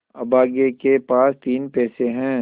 अभागे के पास तीन पैसे है